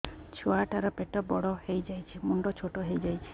ଛୁଆ ଟା ର ପେଟ ବଡ ହେଇଯାଉଛି ମୁଣ୍ଡ ଛୋଟ ହେଇଯାଉଛି